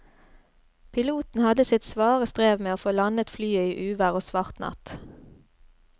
Piloten hadde sitt svare strev med å få landet flyet i uvær og svart natt.